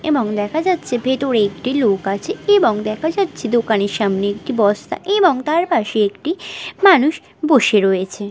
এবং দেখা যাচ্ছে ভেতরে একটি লোক আছে এবং দেখা যাচ্ছে দোকানের সামনে একটি বস্তা এবং তার পাশে একটি মানুষ বসে রয়েছে ।